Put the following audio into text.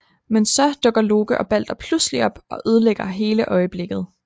Men så dukker Loke og Balder pludselig op og ødelægger hele øjeblikket